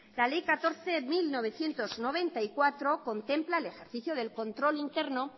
la ley catorce barra mil novecientos noventa y cuatro contempla el ejercicio del control interno